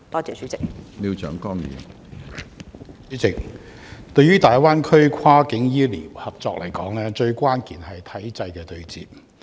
主席，大灣區跨境醫療合作，關鍵在於體制的對接。